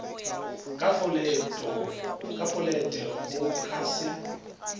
ka folete go ka se